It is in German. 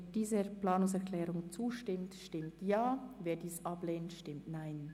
Wer dieser Planungserklärung zustimmt, stimmt Ja, wer diese ablehnt, stimmt Nein.